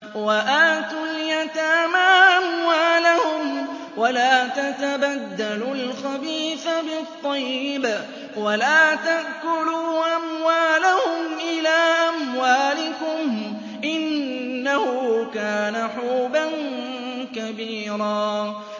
وَآتُوا الْيَتَامَىٰ أَمْوَالَهُمْ ۖ وَلَا تَتَبَدَّلُوا الْخَبِيثَ بِالطَّيِّبِ ۖ وَلَا تَأْكُلُوا أَمْوَالَهُمْ إِلَىٰ أَمْوَالِكُمْ ۚ إِنَّهُ كَانَ حُوبًا كَبِيرًا